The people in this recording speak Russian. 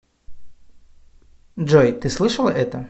джой ты слышала это